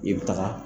I bɛ taga